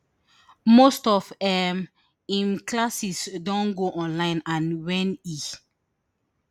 most of um im classes don go online and wen e